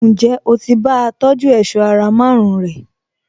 Ǹjẹ́ o ti bá a tọjú èṣọ́ ara márùn-ún rẹ̀?